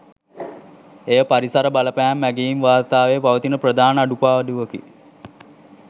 එය පරිසර බලපෑම් ඇගැයීම් වාර්තාවේ පවතින ප්‍රධාන අඩුපාඩුවකි